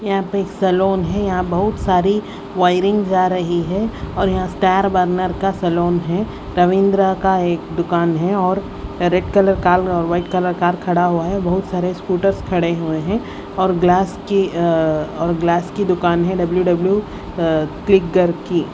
यहाँ पे एक सलोन है यहाँ बहुत सारी वायरिंग जा रही है और यहाँ स्टार बर्नर का सलोन है रविंद्र का एक दुकान है और रेड कलर कार और व्हाईट कलर कार खड़ा हुआ है बहुत सारे स्कूटर्स खड़े हुए हैं और ग्लास की अ और ग्लास की दुकान है की।